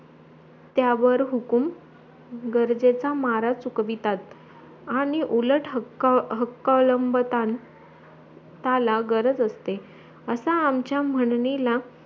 त्यावर हुकूम गरजेचा मारा चुकवितात आणी उलट हक्क हक्क अवलंबितात त्याला गरज असते असा आमचा म्हणणीला